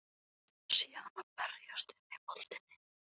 Sé hana berjast um í moldinni.